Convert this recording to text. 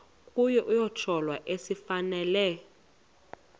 kuye isohlwayo esifanele